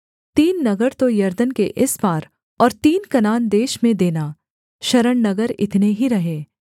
तीन नगर तो यरदन के इस पार और तीन कनान देश में देना शरणनगर इतने ही रहें